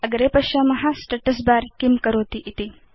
अग्रे पश्याम Status बर किं करोति इति